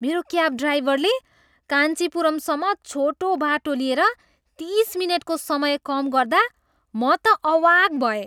मेरो क्याब ड्राइभरले काञ्चिपुरमसम्म छोटो बाटो लिएर तिस मिनेटको समय कम गर्दा म त अवाक भएँ!